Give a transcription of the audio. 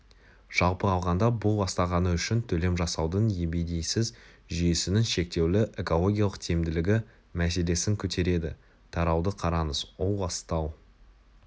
жалпы алғанда бұл ластағаны үшін төлем жасаудың ебедейсіз жүйесінің шектеулі экологиялық тиімділігі мәселесін көтереді тарауды қараңыз ол ластау